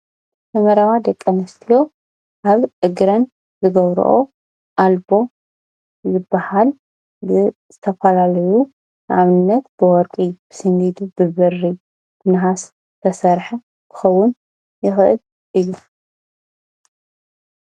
ንመረባ ደቂንስትዮ ኣብ እግረን ዝገብርኦ ኣልቦ ዝበሃል ግን ዝተፈላለዩ ንኣብነት ብወርቂ፣ ብስንዲድ፣ ብብሪ፣ ብነሃስ ዝተሰርሐ ክኸውን ይኽእል እዩ።።